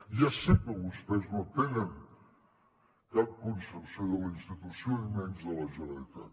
ja sé que vostès no tenen cap concepció de la institució i menys de la generalitat